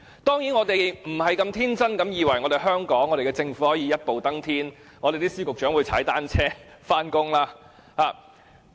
當然，我們不是天真地以為香港政府可以一步登天，司長和局長可以踏單車上班。